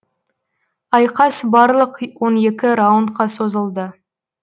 айқас барлық он екі раундқа созылды